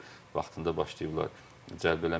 Vaxtında başlayıblar cəlb eləməyə.